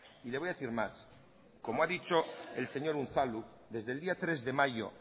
y le voy a decir más como ha dicho el señor unzalu desde el día tres de mayo